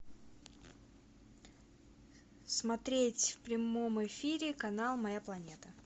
смотреть в прямом эфире канал моя планета